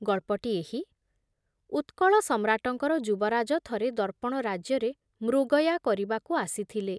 ଗଳ୍ପଟି ଏହି ଉତ୍କଳ ସମ୍ରାଟଙ୍କର ଯୁବରାଜ ଥରେ ଦର୍ପଣ ରାଜ୍ୟରେ ମୃଗୟା କରିବାକୁ ଆସିଥିଲେ ।